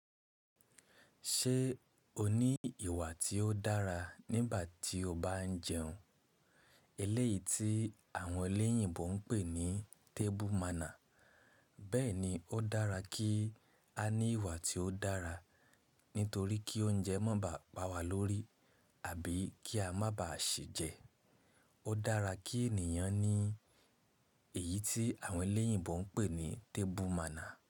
Ṣé o ní ìwà tí ó dára nígbà tí o bá ń jẹun? Eléyìí tí àwọn eléyìnbó ń pè ní table manner. Bẹ́ẹ̀ni, ó dára kí a ní ìwà tí ó dára, nítorí kí oúnjẹ má ba pa wa lórí àbí kí a má ba à ṣi jẹ. Ó dára kí ènìyàn ní èyí tí àwọn eléyìgbó ń pè ní table manner.